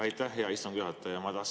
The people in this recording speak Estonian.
Aitäh, hea istungi juhataja!